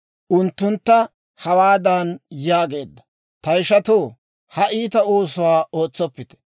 unttuntta hawaadan yaageedda; «Ta ishatoo, ha iita oosuwaa ootsoppite.